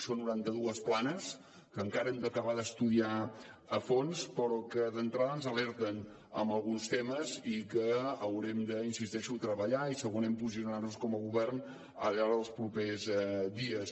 són noranta dues planes que encara hem d’acabar d’estudiar a fons però que d’entrada ens alerten en alguns temes i que haurem hi insisteixo de treballar i segurament posicionar nos com a govern al llarg dels propers dies